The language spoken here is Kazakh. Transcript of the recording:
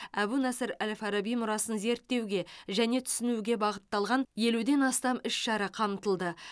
әбу насыр әл фараби мұрасын зерттеуге және түсінуге бағытталған елуден астам іс шара қамтылды